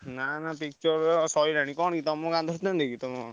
ନାଁ ନାଁ ସରିଲାଣି କଣ କି ତମ ଗାଁ ଧରିଥାନ୍ତେ କି ତମ?